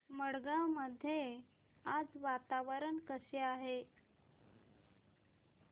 वडगाव मध्ये आज वातावरण कसे आहे